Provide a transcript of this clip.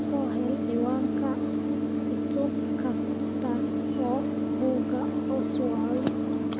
Soo hel cinwaanka cutub kasta oo buugga Oswald